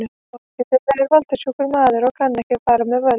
Foringi þeirra er valda- sjúkur maður og kann ekki með völd að fara.